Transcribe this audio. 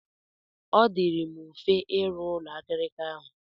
Ọ dịịrị m mfe ịrụ ụlọ akirika ahụ.